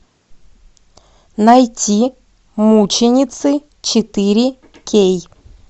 найти мученицы четыре кей